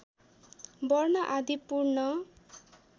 वर्ण आदि पूर्ण